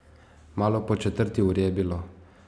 Malo po četrti uri je bilo.